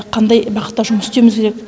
қандай бағытта жұмыс істеуіміз керек